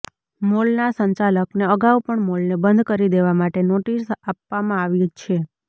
મોલના સંચાલકને અગાઉ પણ મોલને બંધ કરી દેવા માટે નોટિસ આપવામાં આવી છે